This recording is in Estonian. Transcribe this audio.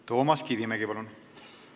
Toomas Kivimägi, palun!